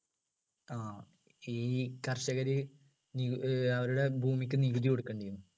ആഹ് ഈ കർഷകര് നി ഏർ അവരുടെ ഭൂമിക്ക് നികുതി കൊടുക്കേണ്ടിനു